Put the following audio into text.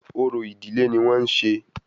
Orò ìdílé ní wọ́n ń ṣe